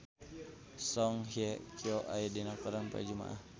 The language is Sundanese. Song Hye Kyo aya dina koran poe Jumaah